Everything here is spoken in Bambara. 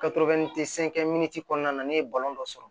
kɔnɔna na ne ye balon dɔ sɔrɔ